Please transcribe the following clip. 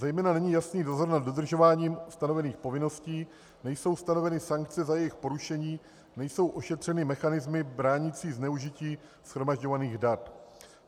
Zejména není jasný dozor nad dodržováním stanovených povinností, nejsou stanoveny sankce za jejich porušení, nejsou ošetřeny mechanismy bránící zneužití shromažďovaných dat.